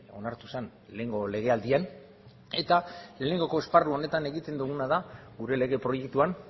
onartu zen lehengo legealdian eta lehenengo esparru honetan egiten duguna da gure lege proiektuan